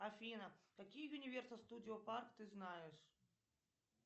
афина какие юниверсал студио парт ты знаешь